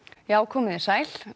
já komiði sæl